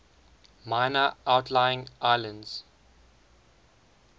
minor outlying islands